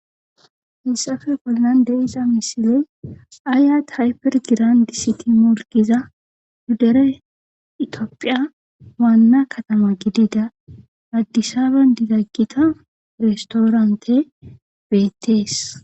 Hisafe pollande ixa misile aaya thayper giran di siti molgiza huddere itiophiya waanna katama gidida addisaben didaggita restoorante beettees